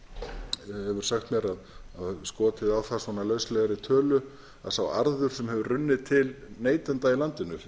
hefur sagt mér og skotið á það lauslegri tölu að sá arður sem hefur runnið til neytenda í landinu